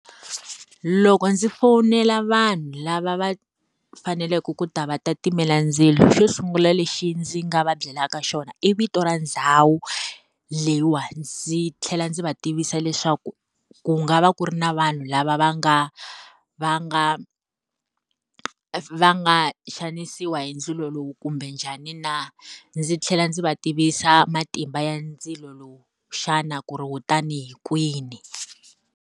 Loko ndzi fonela vanhu lava va faneleke ku ta va ta timela ndzilo xo sungula lexi ndzi nga va byelaka xona i vito ra ndhawu, leyiwa ndzi tlhela ndzi va tivisa leswaku ku nga va ku ri na vanhu lava va nga va nga va nga xanisiwa hi ndzilo lowu kumbe njhani na. Ndzi tlhela ndzi va tivisa matimba ya ndzilo lowu xana ku ri kutani hi kwini.